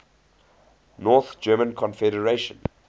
north german confederation